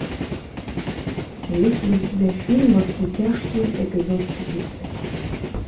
есть ли у тебя фильм во все тяжкие эпизод тридцать